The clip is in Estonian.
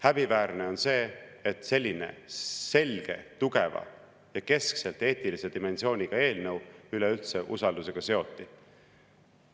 Häbiväärne on see, et selline selgelt tugeva ja keskselt eetilise dimensiooniga eelnõu üleüldse usaldus seoti.